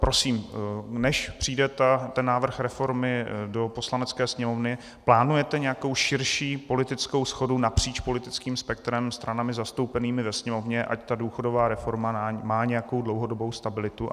Prosím, než přijde ten návrh reformy do Poslanecké sněmovny, plánujete nějakou širší politickou shodu napříč politickým spektrem, stranami zastoupenými ve Sněmovně, ať ta důchodová reforma má nějakou dlouhodobou stabilitu?